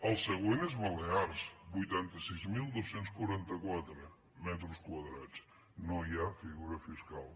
el següent és balears vuitanta sis mil dos cents i quaranta quatre metres quadrats no hi ha figura fiscal